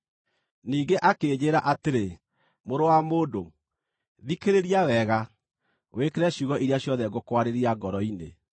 Ningĩ akĩnjĩĩra atĩrĩ, “Mũrũ wa mũndũ, thikĩrĩria wega na wĩkĩre ciugo iria ciothe ngũkwarĩria ngoro-inĩ.